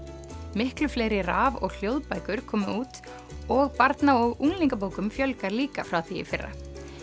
miklu fleiri raf og hljóðbækur komu út og barna og unglingabókum fjölgar líka frá því í fyrra